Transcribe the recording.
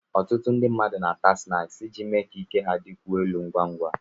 Ọtụtụ ndị mmadụ na-àtá sịnáksi iji mee ka ike ha dịkwuo elu ngwa ngwa